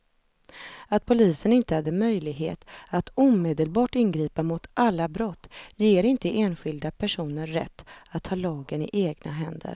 Det kostar runt tjugo kronor att hyra tornet ett dygn, men det sliter på nerverna att gå ensam genom djungeln.